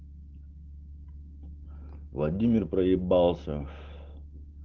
владимир проебался